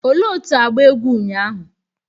Ole otu agba egwu ụnyahụ